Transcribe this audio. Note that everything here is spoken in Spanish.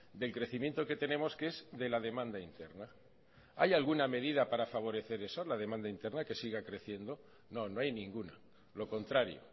del crecimiento que tenemos que es de la demanda interna hay alguna medida para favorecer eso la demanda interna que siga creciendo no no hay ninguna lo contrario